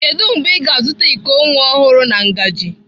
Kedu mgbe ị ga-azụta iko nwa ọhụrụ na ngaji?